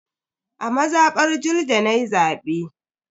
A mazabar Julde nayi zabe.